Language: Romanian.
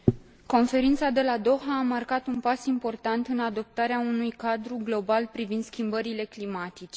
Conferința de la Doha a marcat un pas important în adoptarea unui cadru global privind schimbările climatice.